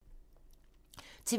TV 2